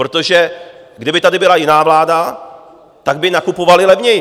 Protože kdyby tady byla jiná vláda, tak by nakupovali levněji.